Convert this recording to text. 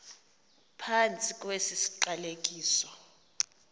phantsi kwesi siqalekiso